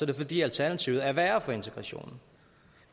det fordi alternativet er værre for integrationen